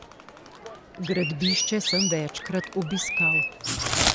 Gradbišče sem večkrat obiskal.